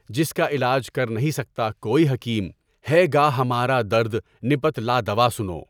جس کا علاج کر نہیں سکتا کوئی حکیم، ہے گہ ہمارا درد نپت لا دوا سنو!